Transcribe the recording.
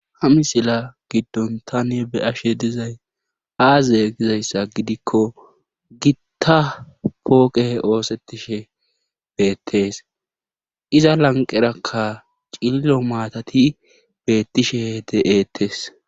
Ha misiliya gidon taani be'ashe dizayssi aaze gizayssa gidikko gitta pooqe oosetishe beetees. Iza lanqerakka cililo maatathi beetishe deeetes.